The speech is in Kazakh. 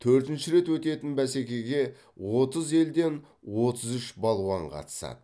төртінші рет өтетін бәсекеге отыз елден отыз үш балуан қатысады